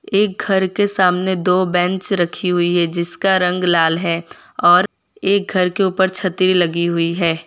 एक घर के सामने दो बेंच रखी हुई है जिसका रंग लाल है और एक घर के ऊपर छतरी लगी हुई है।